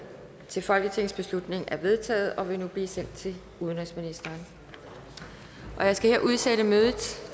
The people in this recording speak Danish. til folketingsbeslutning er vedtaget og vil nu blive sendt til udenrigsministeren jeg skal her udsætte mødet